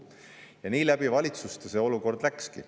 Ja nii läbi valitsuste see olukord läkski.